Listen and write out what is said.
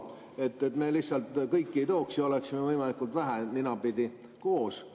Mõte oli, et me lihtsalt kõike ei tooks, oleksime võimalikult vähe ninapidi koos.